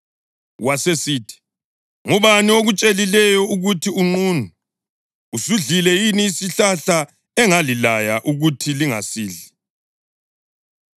Wasesithi, “Ngubani okutshelileyo ukuthi unqunu? Usudlile yini isihlahla engalilaya ukuthi lingasidli?”